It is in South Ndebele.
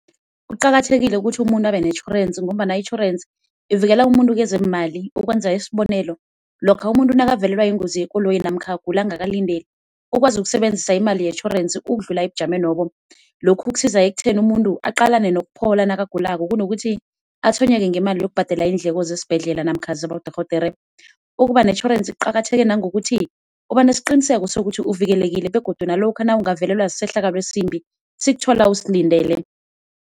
Kuqakathekile ukuthi umuntu abenetjhorensi ngombana itjhorensi ivikela umuntu kwezeemali, ukwenza isibonelo, lokha umuntu nakavelelwa yingozi yekoloyi nofana agula angakalindeli, ukwazi ukusebenzisa imali itjhorensi ukudlula ebujamenobo. Lokhu kusiza ekutheni umuntu aqalane nokuphola nakagulako kunokuthi atshwenyeke ngemali yokubhadela iindleko zesibhedlela namkha zabodorhodere. Ukubanetjhorensi kuqakatheke nangokuthi, ubanesiqiniseko sokuthi uvikelekile begodu nalokha nawungavelelwa sisehlakalo esimbi, sikuthola usilindele.